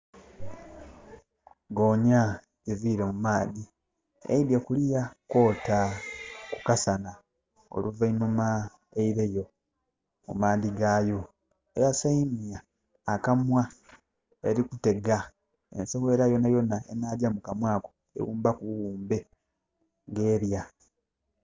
Goonya evire mumaadhi eidye kuluya kwota ku kasana oluvainuhma eireyo mu maadhi gayo. Eyasayimwa akamwa erikutega ensowera yonayona enajja mukamwa ako ewumbaku buwumbe nga erya